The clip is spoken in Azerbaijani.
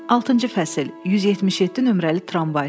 Altıncı fəsil, 177 nömrəli tramvay.